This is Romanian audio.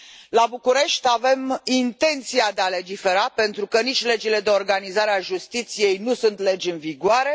La București, avem intenția de a legifera, pentru că nici legile de organizare a justiției nu sunt legi în vigoare.